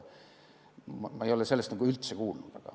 Ma ei ole sellest nagu üldse kuulnud.